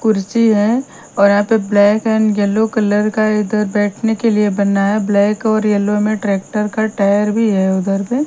कुर्सी है और यहां पे ब्लैक एंड येलो कलर का इधर बैठने के लिए बना है ब्लैक और येलो में ट्रैक्टर का टायर भी है उधर में--